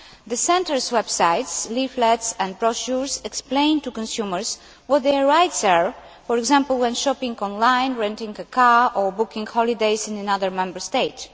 The centres' websites, leaflets and brochures explain to consumers what their rights are, for example, when shopping online, renting a car or booking holidays in another Member State.